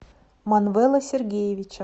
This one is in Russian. манвела сергеевича